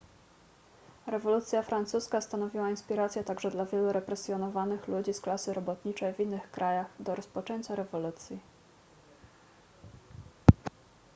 rewolucja francuska stanowiła inspirację także dla wielu represjonowanych ludzi z klasy robotniczej w innych krajach do rozpoczęcia rewolucji